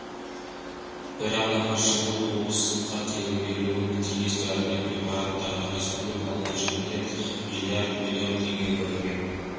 бір анығы жылы облысқа тегін берілуі тиіс дәрілік препараттарға республикалық бюджеттен миллиард миллион теңге бөлінген